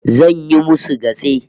Zan yi musu gatse